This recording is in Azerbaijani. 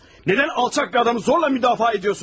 Nədən alçaq bir adamı zorla müdafiə edirsiniz?